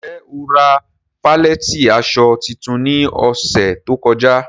Njẹ́ o ra falẹ̀tí aṣọ títún ní òṣè tó kọ̀já?